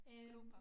Grupper